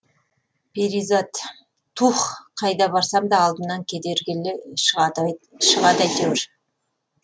перизат туһ қайда барсам да алдымнан кедергіле шығады әйтеуір